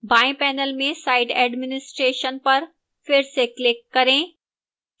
बाएं panel में site administration पर फिर से click करें